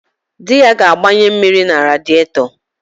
Di ya ga-agbanye mmiri na radịetọ